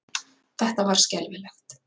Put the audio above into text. Þetta var skelfilegt.